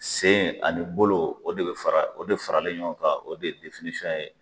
Sen ani bolo o de bɛ fara o de faralen ɲɔgɔn kan o de ye.